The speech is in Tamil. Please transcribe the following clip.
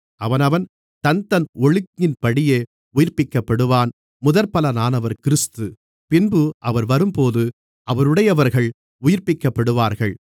அவனவன் தன்தன் ஒழுங்கின்படியே உயிர்ப்பிக்கப்படுவான் முதற்பலனானவர் கிறிஸ்து பின்பு அவர் வரும்போது அவருடையவர்கள் உயிர்ப்பிக்கப்படுவார்கள்